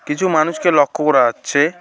কিছু মানুষকে লক্ষ্য করা আচ্ছে ।